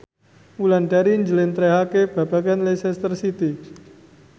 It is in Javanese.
Wulandari njlentrehake babagan Leicester City